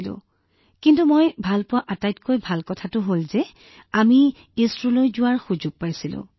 কিন্তু তাত মোক আচৰিত কৰা আটাইতকৈ ভাল কথাটো হল যে প্ৰথমতে কোনেও ইছৰোলৈ যোৱাৰ সুযোগ নাপায় আৰু আমি প্ৰতিনিধি হৈ ইছৰোলৈ যোৱাৰ সুযোগ পাইছিলো